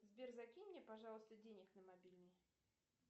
сбер закинь мне пожалуйста денег на мобильный